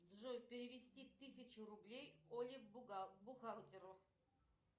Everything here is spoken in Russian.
джой перевести тысячу рублей оле бухгалтеру